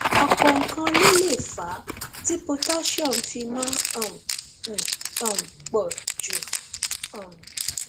ọpọ nǹkan ló lè fà á tí potassium fi máa um ń um pọ jù um